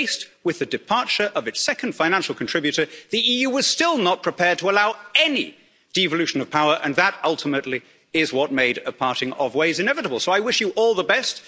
But, faced with the departure of its second financial contributor, the EU was still not prepared to allow any devolution of power and that, ultimately, is what made a parting of ways inevitable. So I wish you all